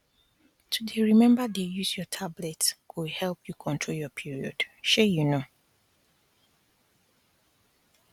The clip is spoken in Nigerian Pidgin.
to dey remember dey use your tablet go help you control your perod shey you know